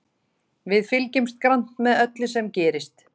Við fylgjumst grannt með öllu sem gerist.